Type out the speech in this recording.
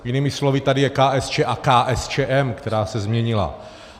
Jinými slovy tady je KSČ a KSČM, která se změnila.